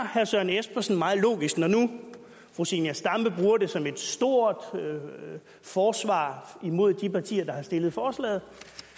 herre søren espersen meget logisk når nu fru zenia stampe bruger det som et stort forsvar imod de partier der har fremsat forslaget